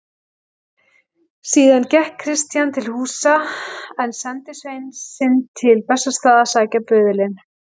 Síðan gekk Christian til húsa en sendi svein sinn til Bessastaða að sækja böðulinn.